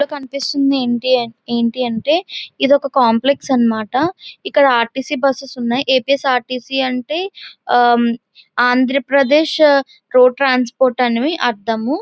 ఈ పిక్ లో కనిపిస్తుంది ఏంటి అంటే ఇది ఒక కాంప్లెక్స్ అన్నమాట ఇక్కడ ఆర్టీసీ బస్సెస్ ఉన్నాయి. ఏపీఎస్ ఆర్టిసి అంటే ఆ ఆంధ్రప్రదేశ్ రోడ్డు ట్రాన్స్పోర్ట్ అని అర్థం.